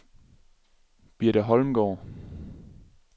Birte Holmgaard